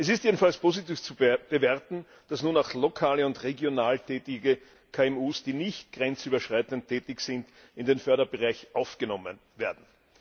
Es ist jedenfalls positiv zu bewerten, dass nun auch lokal und regional tätige KMU, die nicht grenzüberschreitend tätig sind, in den Förderbereich aufgenommen werden.